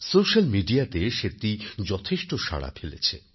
social মিডিয়াতে সেটি যথেষ্ট সাড়া ফেলেছে